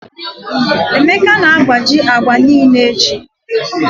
Emeka na-agbaji agba niile echi.